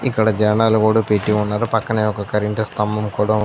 ఇక్కడ జండాలు కూడా పెట్టి ఉన్నారు పక్కనే ఒక కరెంటు స్తంభం కూడా --